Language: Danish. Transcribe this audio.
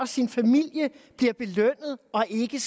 sin familie bliver belønnet og ikke